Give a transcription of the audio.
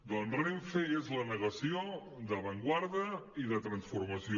doncs renfe és la negació d’avantguarda i de transformació